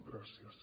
gràcies